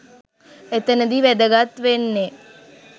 එතනදි වැදගත් වෙන්නේ